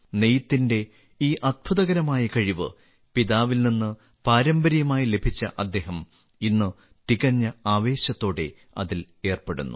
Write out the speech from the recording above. നെയ്ത്തിന്റെ ഈ അത്ഭുതകരമായ കഴിവ് പിതാവിൽ നിന്ന് പാരമ്പര്യമായി ലഭിച്ച അദ്ദേഹം ഇന്ന് തികഞ്ഞ ആവേശത്തോടെ അതിൽ ഏർപ്പെടുന്നു